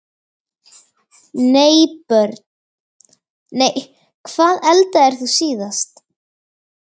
Nei Börn: Nei Hvað eldaðir þú síðast?